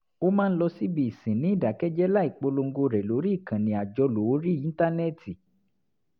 ó máa ń lọ síbi ìsìn ní ìdákẹ́jẹ́ẹ́ láì polongo rẹ̀ lórí ìkànnì àjọlò orí íńtánẹ́ẹ̀tì